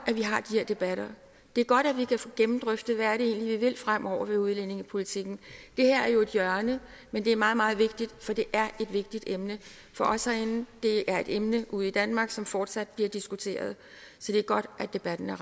at debatter det er godt at vi kan få gennemdrøftet hvad det egentlig er vi vil fremover med udlændingepolitikken det her er jo et hjørne men det er meget meget vigtigt for det er et vigtigt emne for os herinde det er et emne ude i danmark som fortsat bliver diskuteret så det er godt at debatten